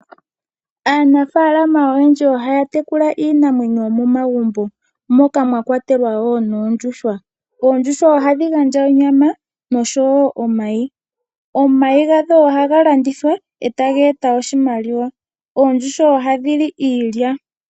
Aanafalama oyendji ohaya tekula iinamwenyo yomomagumbo, moka mwa kwatelwa wo noondjuhwa. Oondjuhwa ohadhi gandja onyama noshowo omayi, omayi gadho ohaga landithwa e taga eta oshimaliwa. Oondjuhwa ohadhi li iilya.